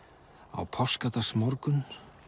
á páskadagsmorgun